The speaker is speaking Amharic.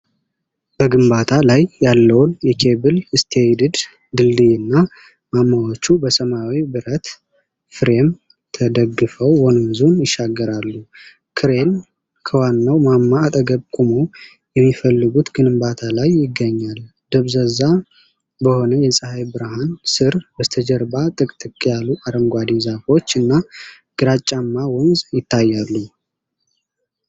በግንባታ ላይ ያለውን የኬብል ስቴይድድ ድልድይና ማማዎቹ በሰማያዊ ብረት ፍሬም ተደግፈው ወንዙን ይሻገራሉ። ክሬን ከዋናው ማማ አጠገብ ቆሞ የሚፈለጉት ግንባታ ላይ ይገኛል። ደብዛዛ በሆነ የፀሐይ ብርሃን ሥር፣ በስተጀርባ ጥቅጥቅ ያሉ አረንጓዴ ዛፎችና ግራጫማ ወንዝ ይታያሉ።